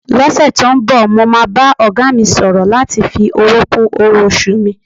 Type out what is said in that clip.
Lọ́sẹ̀ tó ń bọ̀, mo máa bá ọ̀gá mi sọ̀rọ̀ láti fi owó kún owó-oṣù mi.